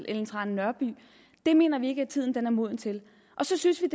ellen trane nørby det mener vi ikke at tiden er moden til så synes vi